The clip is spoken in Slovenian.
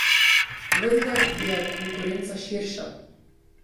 Vendar je konkurenca širša.